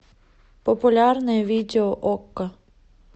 популярные видео окко